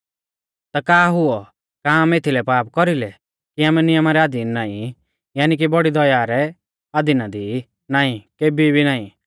ता का हुऔ का आमै एथीलै पाप कौरी लै कि आमै नियमा रै अधीन नाईं यानी कि बौड़ी दया रै अधीना दी ई नाईं केभी भी नाईं